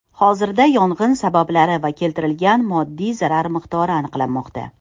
Hozirda yong‘in sabablari va keltirilgan moddiy zarar miqdori aniqlanmoqda.